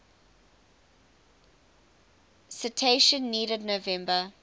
citation needed november